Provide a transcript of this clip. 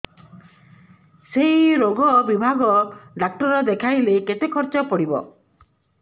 ସେଇ ରୋଗ ବିଭାଗ ଡ଼ାକ୍ତର ଦେଖେଇଲେ କେତେ ଖର୍ଚ୍ଚ ପଡିବ